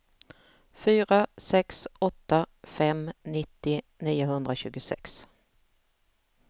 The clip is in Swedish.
fyra sex åtta fem nittio niohundratjugosex